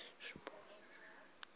venterspost